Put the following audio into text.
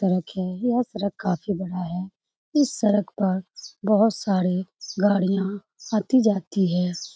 सड़क है यह सड़क काफी बड़ा है इस सड़क पर बहुत सारे गाड़ियाँ आती-जाती हैं।